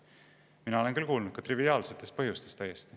Mina olen kuulnud täiesti triviaalsetest põhjustest.